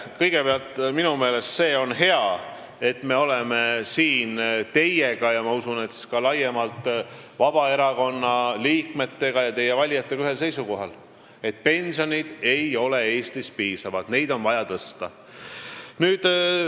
Kõigepealt, minu meelest on hea, et me oleme siin teiega ja ma usun, et ka laiemalt Vabaerakonna liikmetega ja teie valijatega ühel seisukohal, et pensionid ei ole Eestis piisavad ning neid on vaja tõsta.